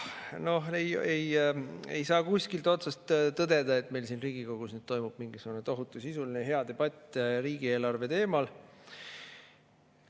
Noh, ei saa kuskilt otsast tõdeda, et meil siin Riigikogus toimub mingisugune tohutu sisuline hea debatt riigieelarve teemal.